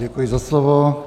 Děkuji za slovo.